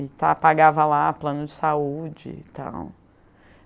E pagava lá plano de saúde e tal.